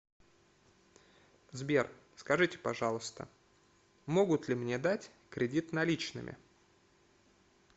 сбер скажите пожалуйста могут ли мне дать кредит наличными